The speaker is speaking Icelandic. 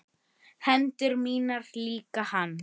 Hendur mínar líka hans.